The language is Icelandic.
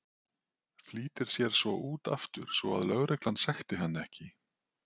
Flýtir sér svo út aftur svo að lögreglan sekti hann ekki.